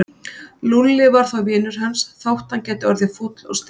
Lúlli var þó vinur hans þótt hann gæti orðið fúll og stríðinn.